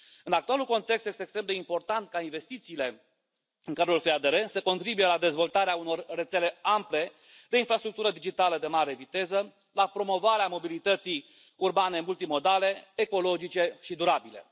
În actualul context, este extrem de important ca investițiile în cadrul FEDR să contribuie la dezvoltarea unor rețele ample de infrastructură digitală de mare viteză, la promovarea mobilității urbane multimodale ecologice și durabile.